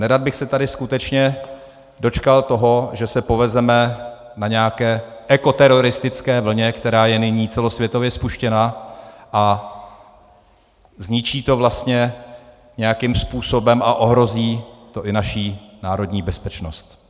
Nerad bych se tady skutečně dočkal toho, že se povezeme na nějaké ekoteroristické vlně, která je nyní celosvětově spuštěna, a zničí to vlastně nějakým způsobem a ohrozí to i naši národní bezpečnost.